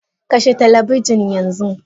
Kashe talabijin yanzu!